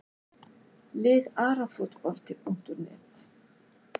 Lið Arafotbolti.net